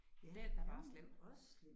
Den er bare slem